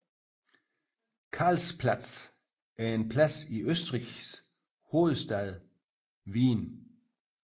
Karlsplatz er en plads i Østrigs hovedstad Wien